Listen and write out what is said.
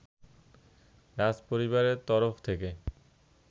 রাজপরিবারের তরফ থেকে